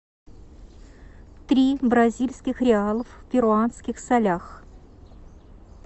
три бразильских реалов в перуанских солях